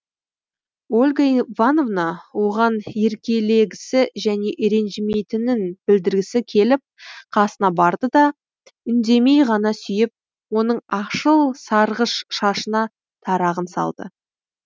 ольга ивановна оған еркелегісі және ренжімейтінін білдіргісі келіп қасына барды да үндемей ғана сүйіп оның ақшыл сарғыш шашына тарағын салды